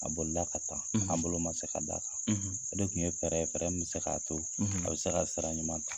A bolila ka taa, a bolo ma se ka d'a kan, a de tun ye fɛɛrɛ ye fɛɛrɛ min bɛ se k'a to a bɛ se ka sira ɲuman ta..